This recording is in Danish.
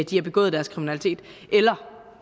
de har begået deres kriminalitet eller